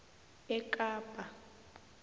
ekapa